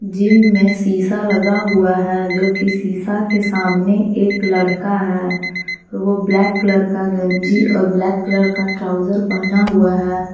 Gym में शीशा लगा हुआ है जो की सीसा के सामने एक लड़का है वो ब्लैक कलर का गंजी और ब्लैक कलर का ट्राउजर पहना हुआ है।